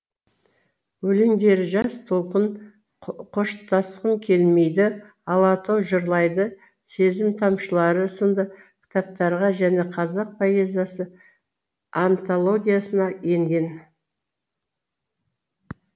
өлеңдері жас толқын қоштасқым келмейді алатау жырлайды сезім тамшылары сынды кітаптарға және қазақ поэзиясы антологиясына енген